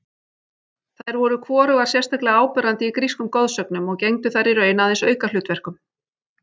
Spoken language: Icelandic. Þær voru hvorugar sérstaklega áberandi í grískum goðsögnum og gegndu þar í raun aðeins aukahlutverkum.